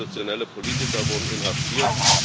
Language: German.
Viele oppositionelle Politiker wurden inhaftiert.